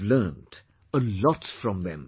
I have learnt a lot from them